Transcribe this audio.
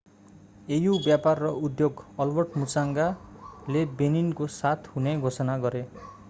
au व्यापार र उद्योग albert muchanga मुचंगाले benin को साथ हुने घोषणा गरे